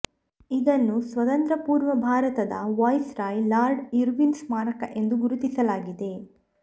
ಇದನ್ನು ಸ್ವತಂತ್ರ ಪೂರ್ವ ಭಾರತದ ವೈಸ್ರಾಯ್ ಲಾರ್ಡ್ ಇರ್ವಿನ್ ಸ್ಮಾರಕ ಎಂದು ಗುರುತಿಸಲಾಗಿದೆ